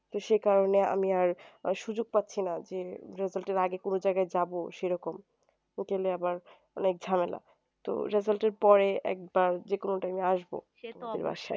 তো সে কারণে আমি আর সুযোগ পাচ্ছি না যে result এর আগে কোনো জায়গায় যাবো সেরকম গেলে আবার অনেক ঝামেলা তো result এর পরে একবার যে কোনো time এ আসবো